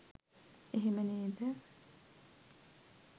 එහෙම නේද